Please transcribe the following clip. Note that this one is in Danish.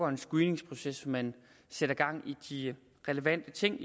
en screeningsproces man sætter gang i de relevante ting